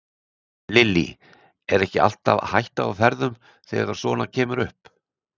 Lillý: Er ekki alltaf hætta á ferðum þegar að svona kemur upp?